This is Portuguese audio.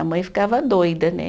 A mãe ficava doida, né?